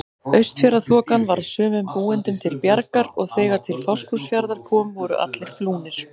Austfjarðaþokan varð sumum búendum til bjargar og þegar til Fáskrúðsfjarðar kom voru allir flúnir.